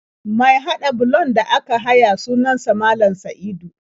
Mai haɗa bulon da aka haya sunan sa Malam Sa'idu.